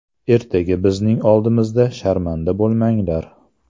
Ertaga bizning oldimizda sharmanda bo‘lmanglar.